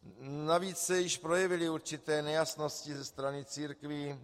Navíc se už projevily určité nejasnosti ze strany církví.